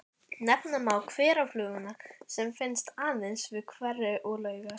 Nefna má hverafluguna sem finnst aðeins við hveri og laugar.